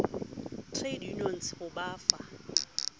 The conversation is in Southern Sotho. trade unions ho ba fa